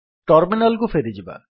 terminal କୁ ଫେରିଯିବା